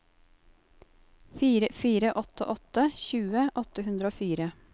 fire fire åtte åtte tjue åtte hundre og fire